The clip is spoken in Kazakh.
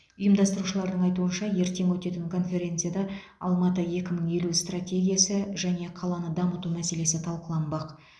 ұйымдастырушылардың айтуынша ертең өтетін конференцияда алматы екі мың елу стратегиясы және қаланы дамыту мәселесі талқыланбақ